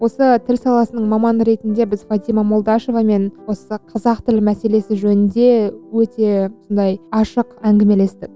осы тіл саласының маманы ретінде біз фатима молдашевамен осы қазақ тілі мәселесі жөнінде өте сондай ашық әңгімелестік